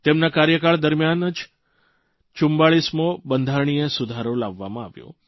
તેમના કાર્યકાળ દરમ્યાન ન જ 44મો બંધારણિય સુધારો લાવવામાં આવ્યો